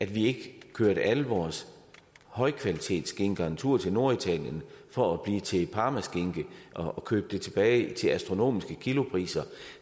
vi ikke kørte alle vores højkvalitetsskinker en tur til norditalien for at blive til parmaskinke og købe det tilbage til astronomiske kilopriser